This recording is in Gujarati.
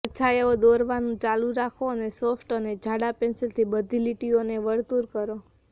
પડછાયાઓ દોરવાનું ચાલુ રાખો અને સોફ્ટ અને જાડા પેન્સિલથી બધી લીટીઓને વર્તુળ કરો